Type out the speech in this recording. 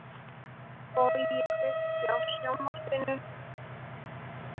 Bogi, kveiktu á sjónvarpinu.